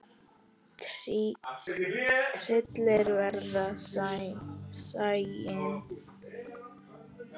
Tryllir veðrið sæinn.